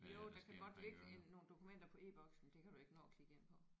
Jo der kan godt ligge en nogle dokumenter på e-Boks men det kan du ikke nå at klikke ind på